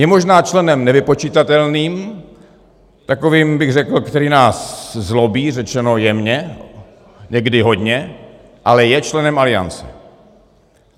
Je možná členem nevypočitatelným, takovým, bych řekl, který nás zlobí, řečeno jemně, někdy hodně, ale je členem Aliance.